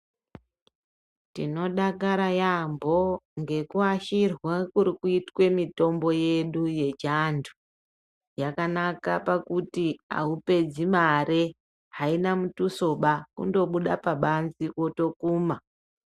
Tinodakara yaambo ngekuwashirwa kurikuite kwemitombo yedu yechi antu, yakanaka pakuti haupedzi mari ,haina mutuso ba kungobuda mubanzi wotokuma.